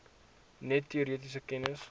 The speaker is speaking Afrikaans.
net teoretiese kennis